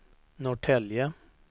Norrtälje